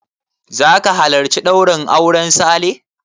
Zaka halarci ɗaurin auren Sale?